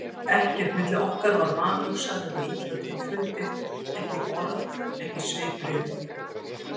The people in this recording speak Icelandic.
Ekkert milli okkar var vanhugsað eða illa til fundið, ekki orð, ekki svipbrigði.